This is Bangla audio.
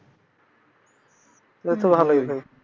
তাইলেতো ভালোই।